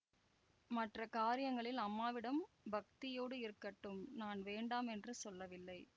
மற்ற காரியங்களில் அம்மாவிடம் பக்தியோடு இருக்கட்டும் நான் வேண்டாம் என்று சொல்லவில்லை